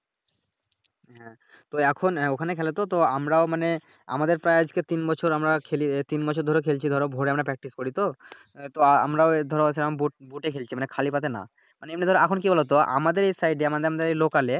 হ্যাঁ, তো এখন ঐখানে খেলে তো তো আমরাও মানে আমাদের প্রায় তিন বছর আমরা খেলি তিন মাস ধরে খেলছি ধরো ভোরে আমরা Practice করি তো। তো আহ আমরা ধরো হচ্ছে এখন বুট বুটে খেলছি মানি খালি পায়েতে নাহ । মানি এমনি ধরো এখন কি বলোতো আমাদের এই সাইডে মানে আমাদের এই লোকালে